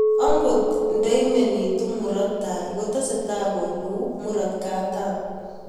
Angot ndaimenituu muraat tai kotesetai koluu muraat katam